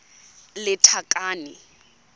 lethakane